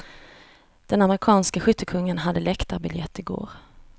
Den amerikanske skyttekungen hade läktarbiljett i går.